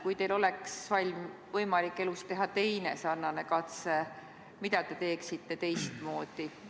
Kui teil oleks võimalik elus teha teine sarnane katse, siis mida te teeksite teistmoodi?